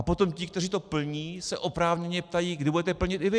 A potom ti, kteří to plní, se oprávněně ptají: Kdy budete plnit i vy?